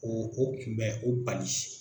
O o kun bɛ o bali.